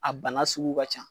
A bana sugu ka ca